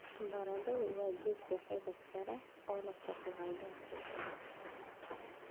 Baradhada waa geedka xididka leh oo leh carbohydrate badan.